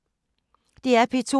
DR P2